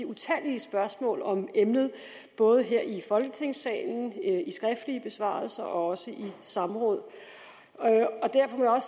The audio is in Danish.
utallige spørgsmål om emnet både her i folketingssalen i skriftlige besvarelser og også i samråd derfor må jeg